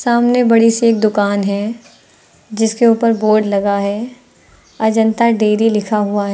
सामने बड़ी सी एक दुकान है जिसके ऊपर बोर्ड लगा है। अजंता डेरी लिखा हुआ है।